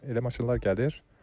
Elə maşınlar gəlir.